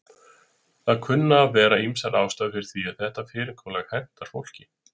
Það kunna að vera ýmsar ástæður fyrir því að þetta fyrirkomulag hentar fólki.